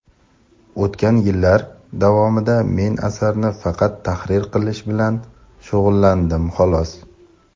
O‘tgan yillar davomida men asarni faqat tahrir qilish bilan shug‘ullandim, xolos.